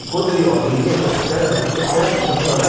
E quando ia, alguém ia atravessar, a gente até avisava. Olha